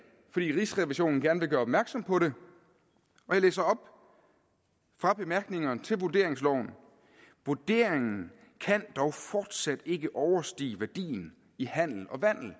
fordi rigsrevisionen gerne vil gøre opmærksom på det og jeg læser op fra bemærkningerne til vurderingsloven vurderingen kan dog fortsat ikke overstige værdien i handel og vandel